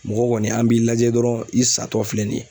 Mɔgɔ kɔni an b'i lajɛ dɔrɔn i sa tɔ filɛ nin ye